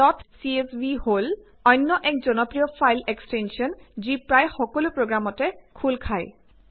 dot CSV হল অন্য এক জনপ্ৰিয় ফাইল এক্সটেঞ্চন যি প্ৰায় সকলো প্ৰগ্ৰামতে খোল খায়